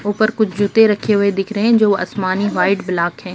ऊपर कुछ जूते रखे हुए दिख रहे हैं जो आसमानी वाइट ब्लैक हैं।